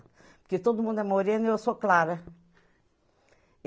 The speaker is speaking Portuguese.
Porque todo mundo é morena e eu sou clara.